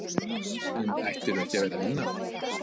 En ættirðu ekki að vera að vinna?